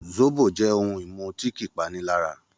Zóbò jẹ́ ohun-ìmu tí kì í panilára